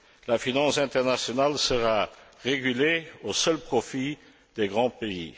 La finance internationale sera régulée au seul profit des grands pays.